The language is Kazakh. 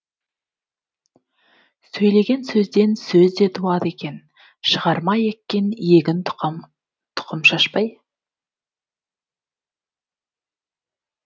сөйлеген сөзден сөз де туады екен шығар ма еккен егін тұқым шашпай